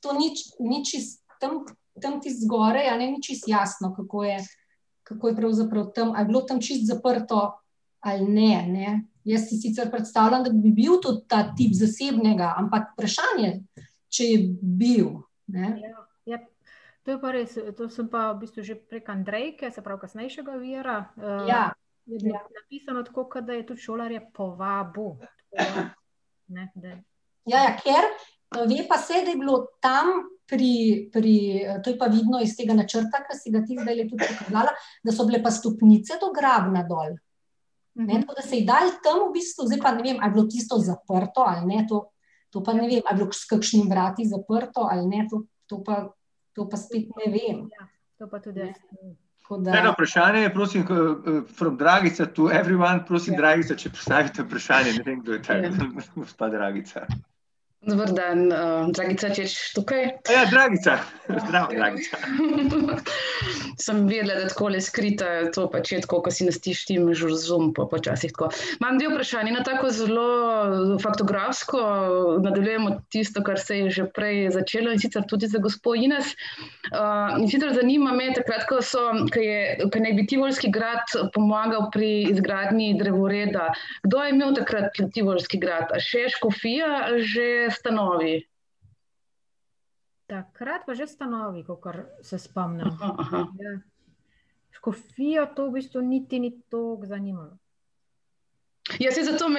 to ni čisto tam ... Tam čisto zgoraj, a ne, ni, čisto jasno, kako je, kako je pravzaprav tam, ali je bilo tam čisto zaprto ali ne, a ne, jaz si sicer predstavljam, da bi bil to ta tip zasebnega, ampak vprašanje, če je bil, ne. Ja. To je pa res, to sem pa v bistvu že prek Andrejke, se pravi kasnejšega vira, ... Ja. Je napisano, tako kot da je tudi šolarje povabil. Ne, da ... Ja, ja, ker, ve pa se, da je bilo tam pri, pri, to je pa vidno iz tega načrta, ki si ga ti zdajle tudi pokazala, da so bile pa stopnice do Grabna dol. Ne, tako da so jih dali tam v bistvu, zdaj pa ne vem, a je bilo tisto zaprto ali ne, to, to pa ne vem, a je bilo s kakšnimi vrati zaprto ali ne, to, to pa, to pa spet ne vem. To pa tudi jaz ne vem. Tako da ... Eno vprašanje je, prosim ... From Dragica to everyone. Prosim, Dragica, če postavite vprašanje, ne vem, kdo je ta gospa Dragica. [anonimiziran govor] Dragica. Zdravo, Dragica. [anonimiziran govor] Takrat pa že stanovi, kakor se spomnim. [anonimiziran govor] Ja. Škofije to v bistvu niti ni toliko zanimalo. [anonimiziran govor]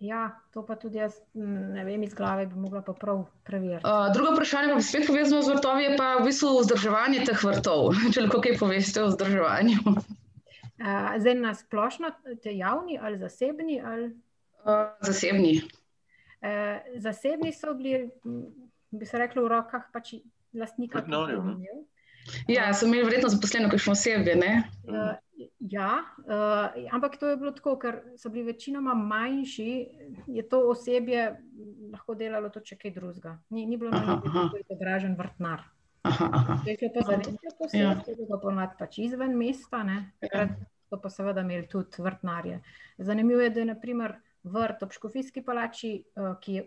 Ja, to pa tudi jaz ne vem iz glave, bi mogla pa prav preveriti. [anonimiziran govor] zdaj, na splošno dejavni ali zasebni ali? [anonimiziran govor] zasebni so bili, bi se reklo, v rokah pač lastnika . [anonimiziran govor] ja, ampak to je bilo tako, ker so bili večinoma manjši, je to osebje lahko delalo tudi še kaj drugega, ni, ni bilo drugega . pač izven mesta ... So pa seveda imel tudi vrtnarje. Zanimivo je, da je na primer vrt ob škofijski palači,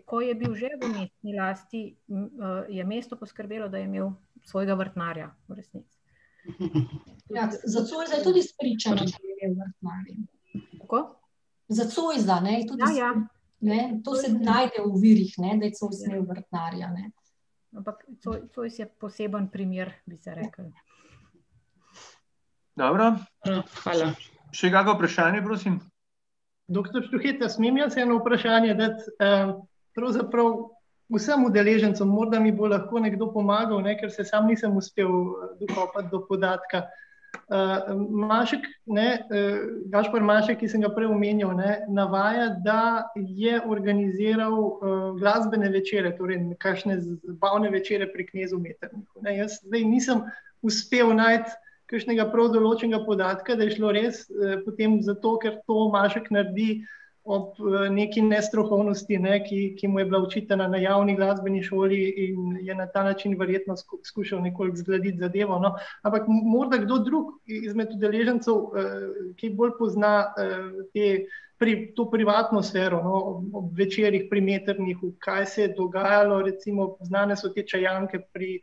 ko je bil že v mestni lasti, je mesto poskrbelo, da je imel svojega vrtnarja v resnici. Ja, za Zoisa tudi izpričano, da je imel vrtnarja. Kako? Za Zoisa, ne, je tudi ... Ja, ja. Ne, to se najde v virih, ne, da je Zois imel vrtnarja, ne. Ampak Zois je poseben primer, bi se reklo. Dobro. [anonimiziran govor] Še kako vprašanje, prosim? Doktor Štuhec, a smem jaz eno vprašanje dati, pravzaprav vsem udeležencem, morda mi bo lahko nekdo pomagal, ne, ker se sam nisem uspel, dokopati do podatka. Mašek, ne, Gašper Mašek, ki sem ga prej omenjal, ne, navaja, da je organiziral glasbene večere, torej kakšne zabavne večere pri knezu Metternichu, ne, zdaj jaz nisem uspel najti kakšnega prav določenega podatka, da je šlo res, potem zato, ker to Mašek naredi v neki nestrokovnosti, ne, ki, ki mu je bila očitana na javni glasbeni šoli, in je na ta način verjetno skušal zgladiti zadevo, ampak morda kdo drug izmed udeležencev, ki bolj pozna, te to privatno sfero, no, ob večerih pri Metternichu, kaj se je dogajalo, recimo znane so te čajanke pri,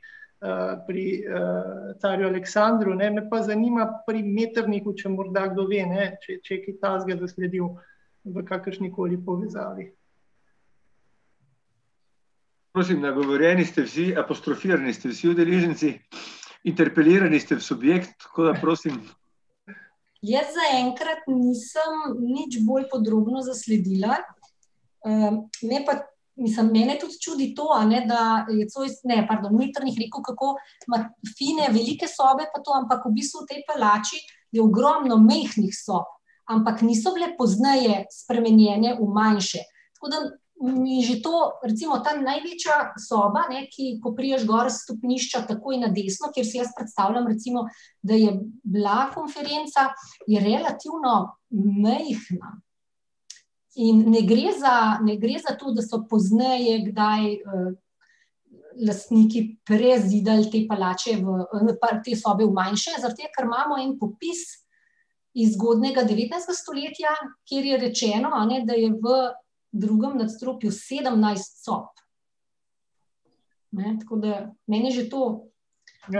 pri, carju Aleksandru, ne, me pa zanima pri Metternichu, če morda kdo ve, ne, če, če je kaj takega zasledil v kakršni koli povezavi. Prosim, nagovorjeni ste vsi, apostrofirani ste vsi udeleženci, interprelirani ste v subjekt, tako da prosim. Jaz zaenkrat nisem nič bolj podrobno zasledila, me pa ... Mislim, mene tudi čudi to, a ne, da je Zois, ne, pardon, Metternich rekel, kako ima fine, velike sobe pa to, ampak v bistvu v tej palači je ogromno majhnih sob. Ampak niso bile pozneje spremenjene v manjše. Tako da mi že to ... Recimo tam največja soba, ne, ki, ko prideš gor s stopnišča takoj na desno, kjer si jaz predstavljam, recimo, da je bila konferenca, je relativno majhna. In ne gre za, ne gre za to, da so pozneje kdaj, lastniki prezidali te palače v, te sobe v manjše, zaradi tega, ker imamo en popis iz zgodnjega devetnajstega stoletja, kjer je rečeno, a ne, da je v drugem nadstropju sedemnajst sobi. Ne, tako da meni je že to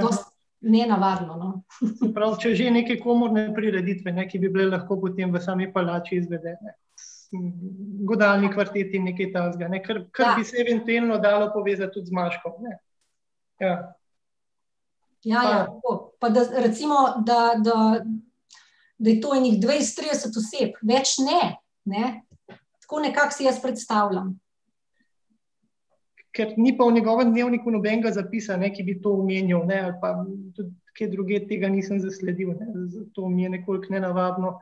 dosti nenavadno, no. Se pravi, če že, neke komorne prireditve, ne, ki bi bile lahko potem v sami palači izvedene. godalni kvartet in nekaj takega, ne, kar, kar bi se eventuelno dalo povezati tudi z Maškom, ne. Ja. Ja, ja, tako. Pa da recimo, da, da, da je to ene dvajset, trideset oseb, več ne, ne. Tako nekako si jaz predstavljam. Ker ni pa v njegovem dnevniku nobenega zapisa, ne, ki bi to omenjal, ne, ali pa kje drugje tega nisem zasledil, ne, zato mi je nekoliko nenavadno,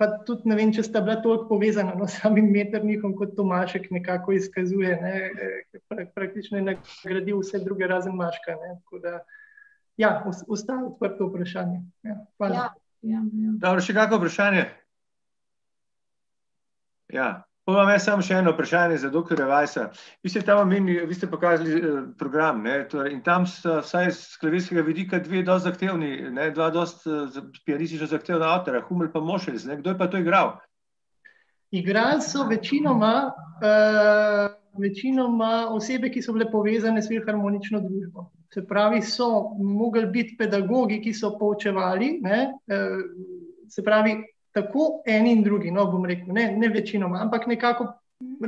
pa tudi ne vem, če sta bila toliko povezana, no, s samim Metternichom, kot to Mašek nekako izkazuje, ne ... Praktično je nagradil vse druge razen Maška, ne, tako da ... Ja, ostaja odprto vprašanje, ne. Hvala. Dobro, še kako vprašanje? Ja. Pol imam jaz samo še eno vprašanje za doktorja Weissa. Vi ste tam omenili, vi ste pokazali, program, ne, torej in tam so vsaj s klavirskega vidika dve dosti zahtevni, ne, dva dosti, pianistično zahtevna avtorja, pa , kdo je pa to igral? Igrale so večinoma, večinoma osebe, ki so bile povezane s Filharmonično družbo. Se pravi, so mogli biti pedagogi, ki so poučevali, ne, se pravi, tako eni in drugi, no, bom rekel, ne, ne večinoma, ampak nekako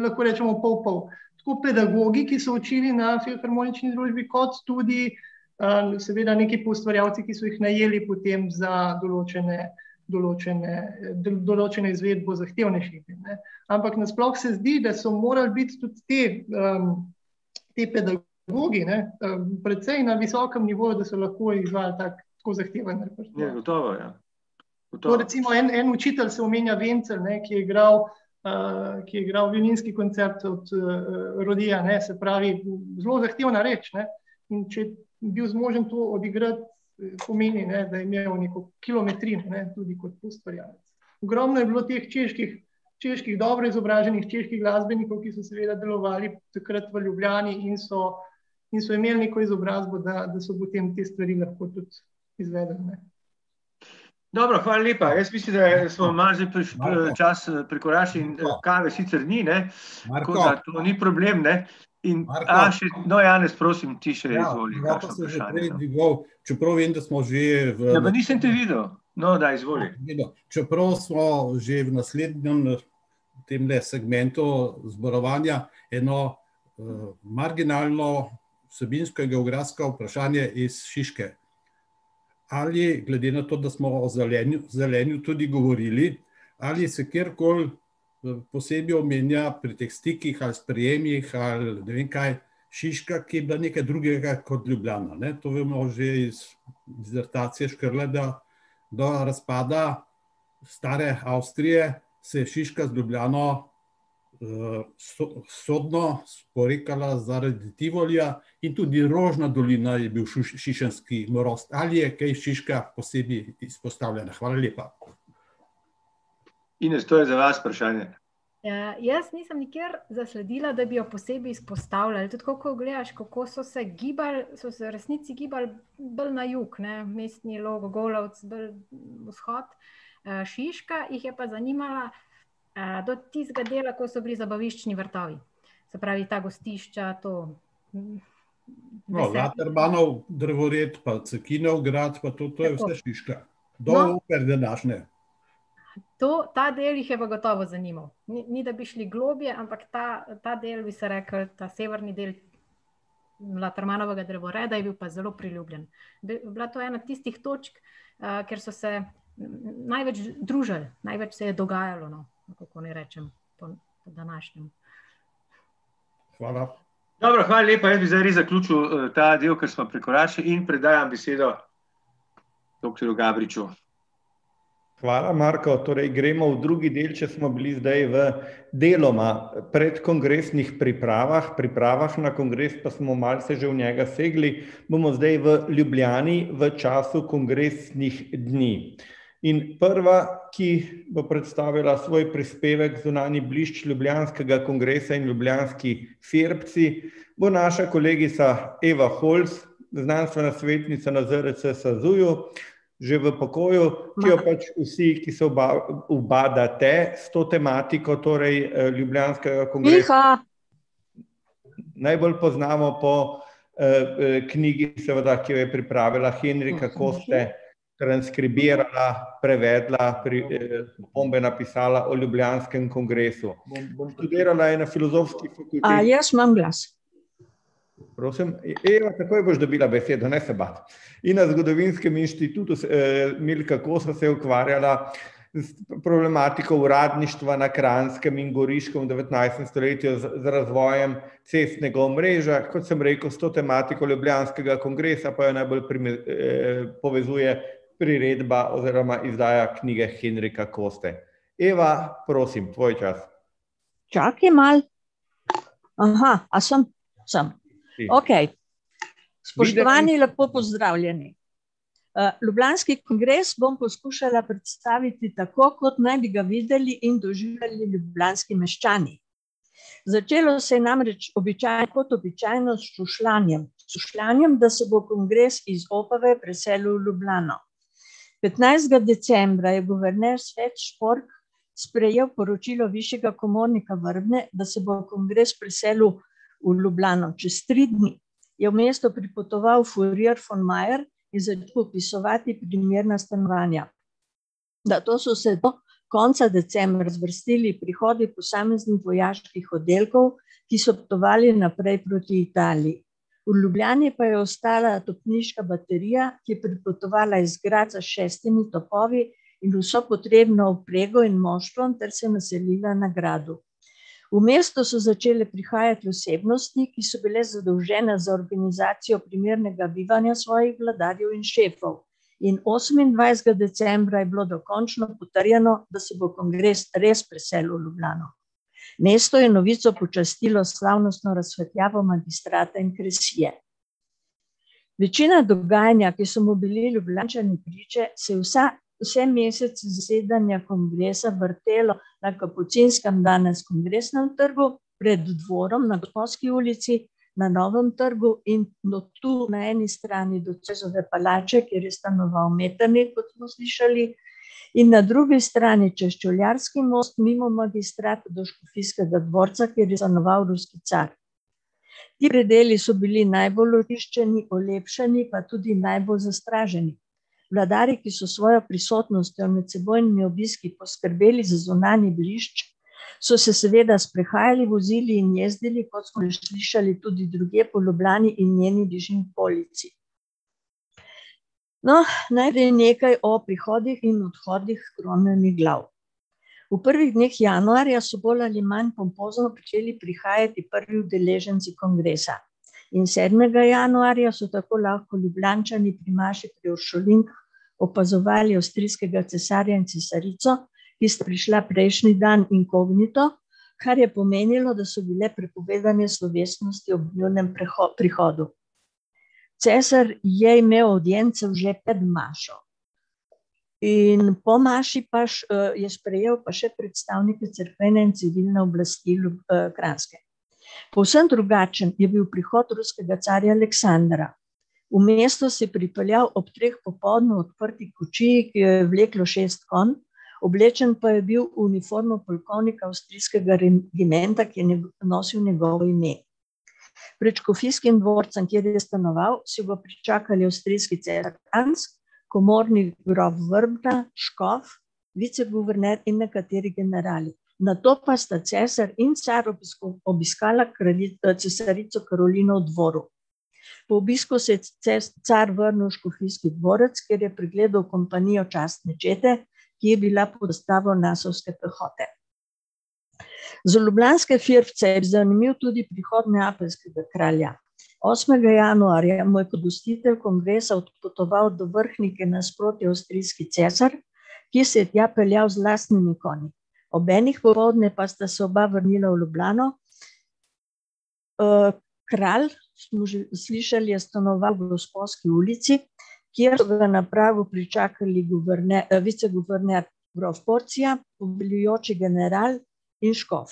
lahko rečemo pol pol. Tako pedagogi, ki so učili na Filharmonični družbi kot tudi, seveda neki poustvarjalci, ki so jih najeli potem za določene, določene, določeno izvedbo zahtevnejših, ne. Ampak nasploh se zdi, da so morali biti tudi ti, te pedagogi, ne, precej na visokem nivoju, da so lahko izvajali tak tako zahteven repertoar. Ja, gotovo, ja. Tako recimo, en, en učitelj se omenja, , ne, ki je igral, ki je igral violinski koncert od, ne, se pravi, zelo zahtevna reč, ne. In če bi bil zmožen to odigrati, pomeni, ne, da je imel neko kilometrino, ne, tudi kot ustvarjalec. Ogromno je bilo teh čeških, čeških, dobro izobraženih čeških glasbenikov, ki so seveda delovali takrat v Ljubljani in so in so imeli neko izobrazbo da, da so potem te stvari lahko tudi izvedli, ne. Dobro, hvala lepa. Jaz mislim, da je ... Smo malo že čas prekoračili, in sicer ni, ne, ni problem, ne ... In ... No, Janez, prosim, ti, še izvoli kako vprašanje. No, pa nisem te videl. No, daj, izvoli. [anonimiziran govor] Ines, to je za vas vprašanje. Ja, jaz nisem nikjer zasledila, da bi jo posebej izpostavljali, tudi tako kot gledaš, kako se gibali, so se v resnici gibali bolj na jug, ne, Mestni Log, Golovec, bolj vzhod. Šiška jih je pa zanimala, do tistega dela, ko so bili zabaviščni vrtovi. Se pravi, ta gostišča, to, [anonimiziran govor] To, ta del jih je pa gotovo zanimal. Ni, ni da bi šli globlje, ampak ta, ta del, bi se reklo, ta severni del Latermanovega drevoreda je bil pa zelo priljubljen. bila to ena tistih točk, kjer so se največ družili, največ se je dogajalo, no. Ali kako naj rečem po, po današnjem. [anonimiziran govor] Dobro, hvala lepa, jaz bi zdaj res zaključil, ta del, ker smo prekoračili, in predajam besedo doktorju Gabriču. Hvala, Marko, torej gremo v drugi del, če smo bili zdaj v deloma predkongresnih pripravah, pripravah na kongres, pa smo malce že v njega segli, bomo zdaj v Ljubljani v času kongresnih dni. In prva, ki bo predstavila svoj prispevek, Zunanji blišč ljubljanskega kongresa in ljubljanski firbci, bo naša kolegica Eva Holc, znanstvena svetnica na ZRC SAZU-ju, že v pokoju, ki jo pač vsi, ki se ubadate s to tematiko, torej, ljubljanskega najbolj poznamo po, knjigi, seveda, ki jo je pripravila, Henrika Koste, transkribirala, prevedla, opombe napisala o ljubljanskem kongresu. Študirala je na Filozofski fakulteti ... Prosim? Eva, takoj boš dobila besedo, ne se bati. In na Zgodovinskem inštitutu Milka Kosa se je ukvarjala s problematiko uradništva na Kranjskem in Goriškem v devetnajstem stoletju, z razvojem cestnega omrežja. Kot sem rekel, s to tematiko ljubljanskega kongresa pa najbolj povezuje priredba oziroma izdaja knjige Henrika Koste. Eva, prosim, tvoj čas. Čakaj malo. a sem? Sem. Si. Okej. Spoštovani, lepo pozdravljeni. ljubljanski kongres bom poskušala predstaviti tako, kot naj bi ga videli in doživljali ljubljanski meščani. Začelo se je namreč kot običajno, s šušljanjem. Šušljanjem, da se bo kongres iz Opave preselil v Ljubljano. Petnajstega decembra je guverner sprejel poročilo višjega komornika , da se bo kongres preselil v Ljubljano. Čez tri dni je v mesto pripotoval von Mayer in začel popisovati primerna stanovanja. Nato so se do konca decembra zvrstili prihodi posameznih vojaških oddelkov, ki so potovali naprej proti Italiji. V Ljubljani pa je ostala topniška baterija, ki je pripotovala iz Gradca s šestimi topovi in vso potrebno opremo in moštvom ter se naselila na gradu. V mesto so začele prihajati osebnosti, ki so bile zadolžene za organizacijo primernega bivanja svojih vladarjev in šefov. In osemindvajsetega decembra je bilo dokončno potrjeno, da se bo kongres res preselil v Ljubljano. Mesto je novico počastilo s slavnostno razsvetljavo Magistrata in Kresije. Večina dogajanja, ki so mu bili Ljubljančani priče, se je vsa, vse mesece zasedanja kongresa vrtelo na Kapucinskem, danes Kongresnem trgu, pred dvorom na ulici, na Novem trgu in od tu na eni strani do Zoisove palače, kjer je stanoval Metternich, kot smo slišali, in na drugi strani čez Čevljarski most, mimo Magistrata do Škofijskega dvorca, ki je . Ti predeli so bili najbolj očiščeni, olepšani, pa tudi najbolj zastraženi. Vladarji, ki so s svojo prisotnostjo in medsebojnimi obiski poskrbeli za zunanji blišč, so se seveda sprehajali, vozili in jezdili, kot smo že slišali, tudi drugje po Ljubljani in njeni bližnji okolici. No, najprej nekaj o prihodih in odhodih kronanih glav. V prvih dneh januarja so bolj ali manj pompozno pričeli prihajati prvi udeleženci kongresa. In sedmega januarja so tako lahko Ljubljančani pri maši pri uršulinkah opazovali avstrijskega cesarja in cesarico, ki sta prišla prejšnji dan inkognito, kar je pomenilo, da so bile prepovedane slovesnosti ob njunem prihodu. Cesar je imel avdienco že pred mašo. In po maši pač je sprejel pa še predstavnike cerkvene in civilne oblasti Kranjske. Povsem drugačen je bil prihod ruskega carja Aleksandra. V mesto se je pripeljal ob treh popoldne v odprti kočiji, ki jo je vleklo šest konj, oblečen pa je bil v uniformo polkovnika avstrijskega regimenta, ki je nosil njegovo ime. Pred škofijskim dvorcem, kjer je stanoval, so ga pričakali avstrijski cesar Franc, komorni grof Vrba, škof, viceguverner in nekateri generali. Nato pa sta cesar in car obiskala cesarico Karolino v dvoru. Po obisku se je car vrnil v škofijski dvorec, kjer je pregledal kompanijo častne čete, ki je bila pehote. Za ljubljanske firbce je zanimiv tudi prihod neapeljskega kralja. Osmega januarja je kongresa odpotoval do Vrhnike nasproti avstrijski cesar, ki se je tja peljal z lastnimi konji. Ob enih popoldne pa sta se oba vrnila v Ljubljano, kralj, smo že slišali, je stanoval v Gosposki ulici, kjer so ga na pragu pričakali viceguverner grof , poveljujoči general in škof.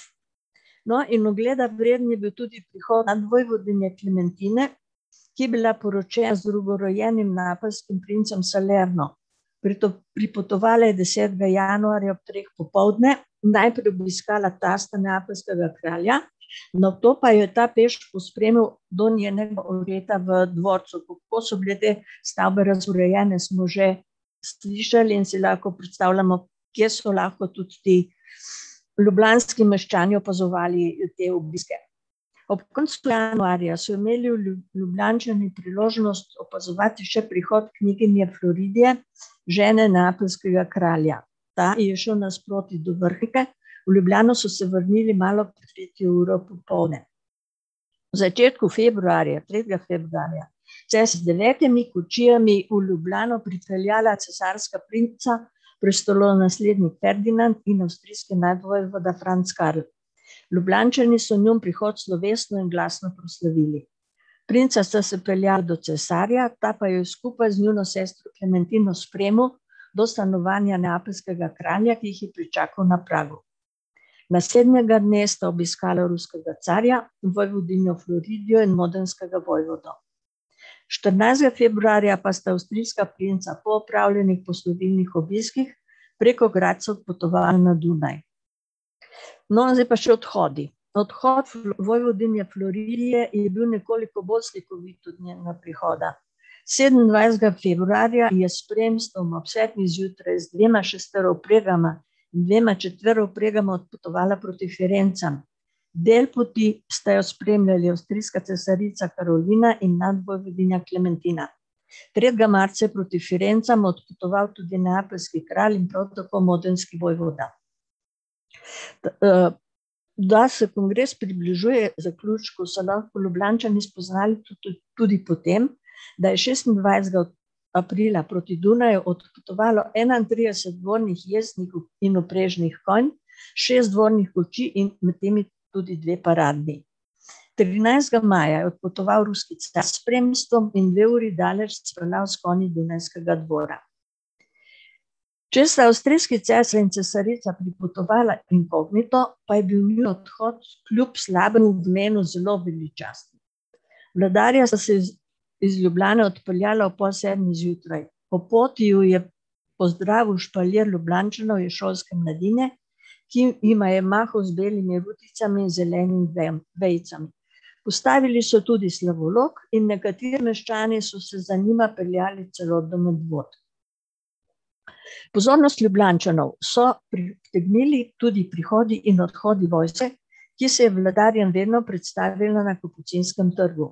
No, in ogleda vreden je bil tudi prihod nadvojvodinje Klementine, ki je bila poročena z drugorojenim neapeljskim princem . pripotovala je desetega januarja ob treh popoldne, najprej obiskala tasta, neapeljskega kralja, nato pa jo je ta peš pospremil do njenega v dvorcu. Kako so bile te stavbe urejene, smo že slišali in si lahko predstavljamo, kje so lahko tudi ti ljubljanski meščani opazovali te obiske. Ob koncu januarja so imeli Ljubljančani priložnost opazovati še prihod kneginje , žene neapeljskega kralja. Ta je šel nasproti do Vrhnike, v Ljubljano so se vrnili malo pred tretjo uro popoldne. V začetku februarja, tretjega februarja, se je z devetimi kočijami v Ljubljano pripeljala cesarska princa, prestolonaslednik Ferdinand in avstrijski nadvojvoda, Franc Karel. Ljubljančani so njun prihod slovesno in glasno proslavili. Princa sta se peljala do cesarja, ta pa ju je skupaj z njuno sestro Klementino spremil do stanovanja neapeljskega kralja, ki jih je pričakal na pragu. Naslednjega dne sta obiskala ruskega carja, vojvodinjo in modenskega vojvodo. Štirinajstega februarja pa sta avstrijska princa po opravljenih poslovilnih obiskih preko Gradca odpotovala na Dunaj. No, zdaj pa še odhodi. Odhod vojvodinje je bil nekoliko bolj slikovit od njenega prihoda. Sedemnajstega februarja je s spremstvom ob sedmih zjutraj z dvema šesterovpregama in dvema četverovpregama odpotovala proti Firencam. Del poti sta jo spremljali avstrijska cesarica Karolina in nadvojvodinja Klementina. Tretjega marca je proti Firencam odpotoval tudi neapeljski kralj in prav tako modenski vojvoda. da se kongres približuje zaključku, so lahko Ljubljančani spoznali tudi po tem, da je šestindvajsetega aprila proti Dunaju odpotovalo enaintrideset dvornih jezdnih in vprežnih konj, šest dvornih kočij in med njimi tudi dve paradni. Trinajstega maja je odpotoval ruski car s spremstvom in dve uri daleč s konji z dunajskega dvora. Če sta avstrijski cesar in cesarica pripotovala inkognito, pa je bil njun odhod kljub slabemu vremenu zelo veličasten. Vladarja sta se iz Ljubljane odpeljala ob pol sedmih zjutraj. Po poti ju je pozdravil špalir Ljubljančanov in šolske mladine, ki ima je mahal z belimi ruticami in zelenimi vejami, vejicami. Postavili so tudi slavolok in nekateri meščani so se za njima peljali celo do Medvod. Pozornost Ljubljančanov so pritegnili tudi prihodi in odhodi vojske, ki se je vladarjem vedno predstavila na Kapucinskem trgu.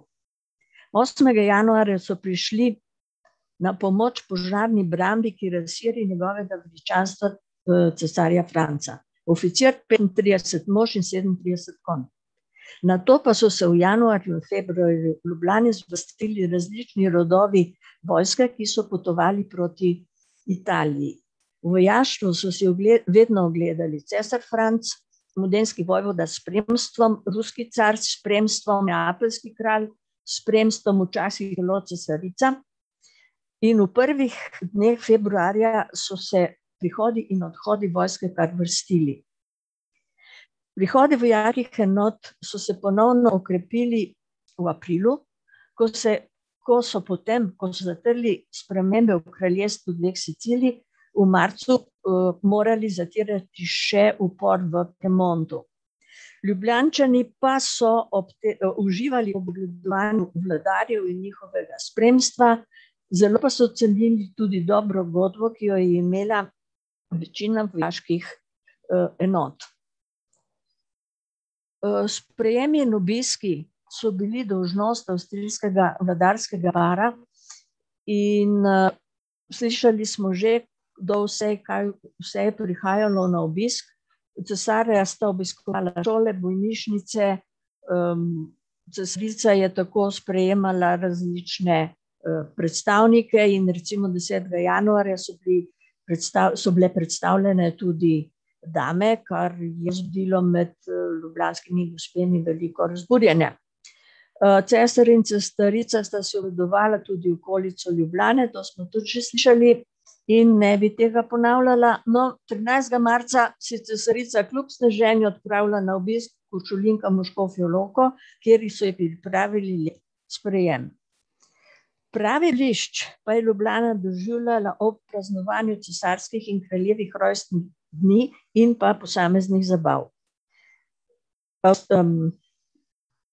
Osmega januarja so prišli na pomoč požarni njegovega meščanstva, cesarja Franca. Oficir, petintrideset mož in sedemintrideset konj. Nato pa so se v januarju in februarju v Ljubljani spustili različni rodovi vojske, ki so potovali proti Italiji. Vojaštvo so si vedno ogledali cesar Franc, vojvoda s spremstvom, ruski car s spremstvom, neapeljski kralj s spremstvom, včasih celo cesarica. In v prvih dneh februarja so se prihodi in odhodi vojske kar vrstili. Prihodi enot so se ponovno okrepili v aprilu, ko se, ko so potem, ko so zatrli spremembe v kraljestvu dveh Sicilij, v marcu, morali zatirati še upor v Piemontu. Ljubljančani pa so ob uživali ob ogledovanju vladarja in njihovega spremstva, zelo pa so cenili tudi dobro godbo, ki jo je imela večina vojaških, enot. sprejem in obiski so bili dolžnost avstrijskega vladarskega para in, slišali smo že, kdo vse, kaj vse je prihajalo na obisk, cesarja sta obiskovala šole, bolnišnice, cesarica je tako sprejemala različne, predstavnike, in recimo desetega januarja so bili so bile predstavljene tudi dame, kar je zbudilo med, ljubljanskimi gospemi veliko razburjenja. cesar in cesarica sta si ogledovala tudi okolico Ljubljane, to smo tudi že slišali in ne bi tega ponavljala, no, trinajstega marca se je cesarica kljub sneženju odpravila na obisk k uršulinkam v Škofjo Lahko, kjer so ji pripravili lep sprejem. Pravi blišč pa je Ljubljana doživljala ob praznovanju cesarskih in kraljevih rojstnih dni in pa posameznih zabav.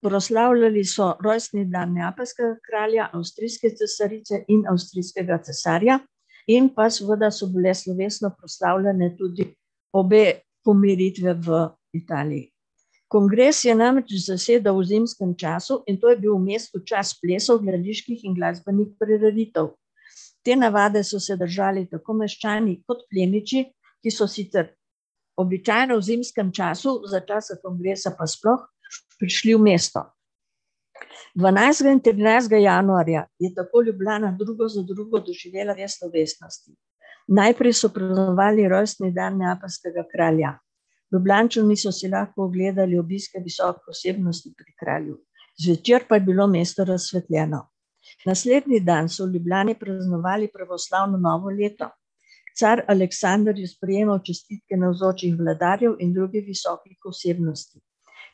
Proslavljali so rojstni dan neapeljskega kralja, avstrijske cesarice in avstrijskega cesarja in pa seveda so bile slovesno proslavljane tudi obe pomiritvi v Italiji. Kongres je namreč zasedal v zimskem času, in to je bil v mestu čas plesov, gledaliških in glasbenih prireditev. Te navade so se držali tako meščani kot plemiči, ki so sicer običajno v zimskem času, za časa kongresa pa sploh, prišli v mesto. Dvanajstega in trinajstega januarja je tako Ljubljana drugo za drugo doživela več slovesnosti. Najprej so praznovali rojstni dan neapeljskega kralja, Ljubljančani so si lahko ogledali obiske visokih osebnosti h kralju, zvečer pa je bilo mesto razsvetljeno. Naslednji dan so v Ljubljani praznovali pravoslavno novo leto. Car Aleksander je sprejemal čestitke navzočih vladarjev in drugih visokih osebnosti.